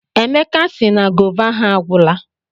Emeka sị na gova ha agwụla.